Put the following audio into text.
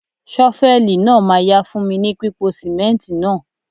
Ṣọfẹ́lì náà ma yá fún mi ní pípo sìmẹ́ǹtì náà..